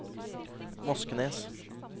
Moskenes